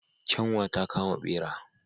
Kyanwa ta kama bera.